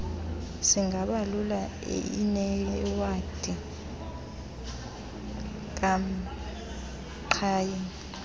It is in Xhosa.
singabalula inewadi kamqhayi